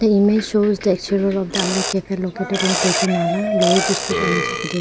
The image shows the exterior of the Alliya Cafe located in Tezu Nala Lohit district Arunachal prade --